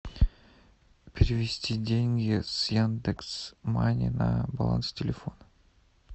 перевести деньги с яндекс мани на баланс телефона